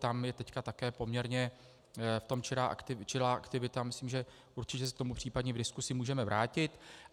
Tam je teď také poměrně v tom čilá aktivita, myslím, že určitě se k tomu případně v diskuzi můžeme vrátit.